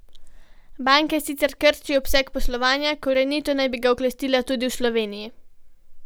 Banka sicer krči obseg poslovanja, korenito naj bi ga oklestila tudi v Sloveniji.